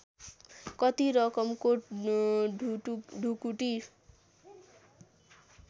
कति रकमको ढुकुटी